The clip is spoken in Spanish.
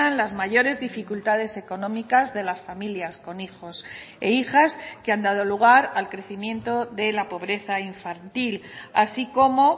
las mayores dificultades económicas de las familias con hijos e hijas que han dado lugar al crecimiento de la pobreza infantil así como